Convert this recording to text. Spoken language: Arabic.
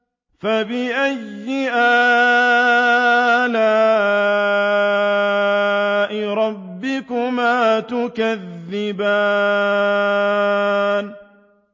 فَبِأَيِّ آلَاءِ رَبِّكُمَا تُكَذِّبَانِ